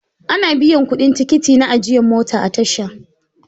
Ana biyan kuɗin tikiti na ajiyan mota a tasha.